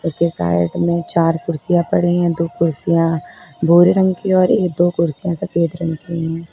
इसके साइड में चार कुर्सियां पड़ी है दो कुर्सियां भूरे रंग की है और दो कुर्सियां सफेद रंग की है।